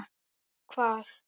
Með hvað?